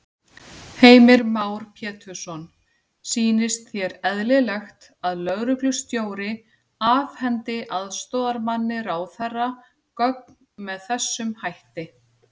Heimir Már Pétursson: Sýnist þér eðlilegt að lögreglustjóri afhendi aðstoðarmanni ráðherra gögn með þessum hætti?